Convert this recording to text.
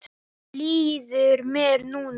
Þannig líður mér núna.